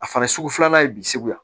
A fana sugu filanan ye bi segu yan